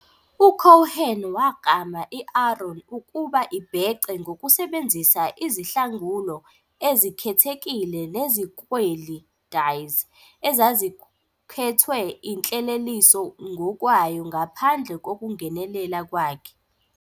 U-Cohen waklama i-AARON ukuba ibhece ngokusebenzisa izihlangulo ezikhethekile neziklweli ", dyes, ezazikhethwe inhleleliso ngokwayo ngaphandle kokungenelela kwakhe.